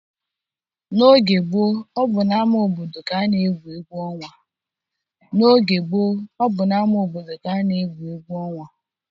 N'oge gboo, ọ bụ n'ama obodo ka a na-egwu egwu ọnwa.